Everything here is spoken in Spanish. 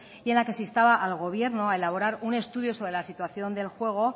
y en la que se instaba al gobierno a elaborar un estudio sobre la situación del juego